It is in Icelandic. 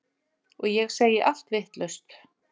Og ég segi allt vitlaust.